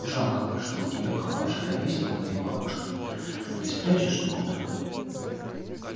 жалко что у тебя калаш ровесник моей бабушке не спрячешь никуда